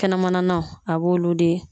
Kɛnɛmananaw , a b'olu de